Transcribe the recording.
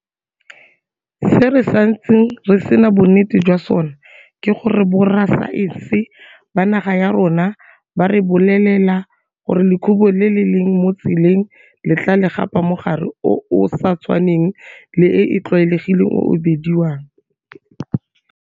Se re santseng re sena bonnete jwa sona ke gore borasaense ba naga ya rona ba re bolelela gore lekhubu le le leng mo tseleng le tla le gapa mogare o o sa tshwaneng le e e tlwaelegileng o o bediwang.